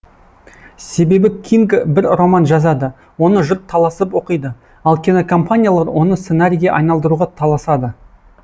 себебі кинг бір роман жазады оны жұрт таласып оқиды ал кинокомпаниялар оны сценарийге айналдыруға таласады